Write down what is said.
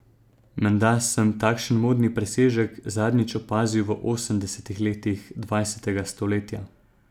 Menda sem takšen modni presežek zadnjič opazil v osemdesetih letih dvajsetega stoletja.